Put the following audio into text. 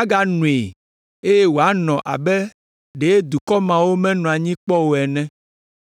aganoe eye wòanɔ abe ɖe dukɔ mawo menɔ anyi kpɔ o ene.